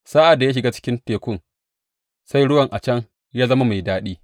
Sa’ad da ya shiga cikin Tekun sai ruwan a can ya zama mai daɗi.